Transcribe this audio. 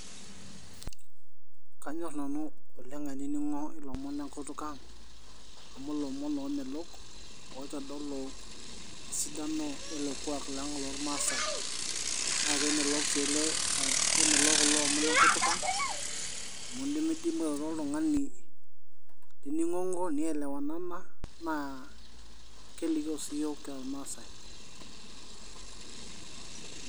Knayor nanu oleng ainining'o ilomon le nkutuk ang, amu ilomon loomelok oitodolu esidano wele kuak lang lolmaasai. Naa kemelok sii ele, kemelok kulo omon lenkutuk ang, amu indimidimi airoro oltung'ani nining'ong'o, nielewanana naa kilikio sii iyook kira ilmaasai.